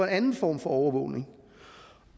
anden form for overvågning